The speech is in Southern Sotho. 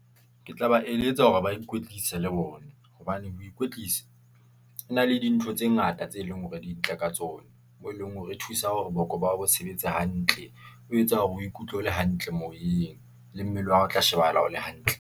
Ke tla ba eletsa hore ba ikwetlisa le bona, hobane ho ikwetlisa e na le dintho tse ngata tse leng hore di ntle ka tsona. Moo e leng hore re thusa hore boko ba hao bo sebetse hantle. O etsa hore o ikutlwe o le hantle moyeng le mmele wa hao, o tla shebahala o le hantle.